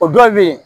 O dɔw be yen